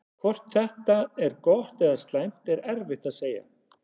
Hvort þetta er gott eða slæmt er erfitt að segja.